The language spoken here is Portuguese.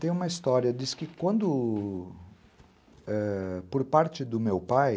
Tem uma história, diz que quando, é, por parte do meu pai,